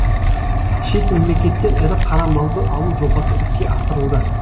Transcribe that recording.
шет мемлекеттен ірі қара малды алу жобасы іске асырылды